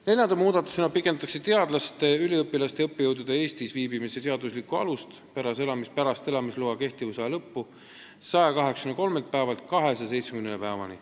Neljanda muudatusena pikendatakse teadlaste, üliõpilaste ja õppejõudude seaduslikku Eestis viibimise aega pärast elamisloa kehtivusaja lõppu 183-lt päevalt 270 päevani.